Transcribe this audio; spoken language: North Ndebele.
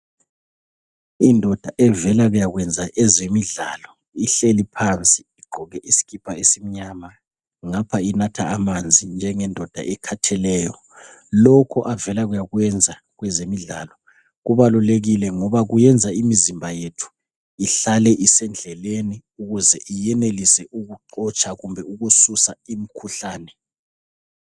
indoda evela kuyakwenza ezemidlalo ihleli phansi igqoke isikipa esimnyama ngapha inatha amanzi njengendoda ekhatheleyo lokho avela kuyakwenza kwezemidlalo kubalulekile ngoba kuyenza imizimba yethu ihlale isendlelni ukuze iyenelise ukuxotsha kumbe ukususa imikhuhlane